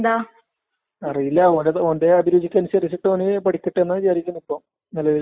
കിട്ടിയാല് നമ്ക്ക് നല്ല ജോലീല് കിട്ട്ന്നെ നല്ല നല്ല ശമ്പളോക്കെ കിട്ടുമ്പോ നമുക്ക് മനസ്സിലാകും നമ്മള്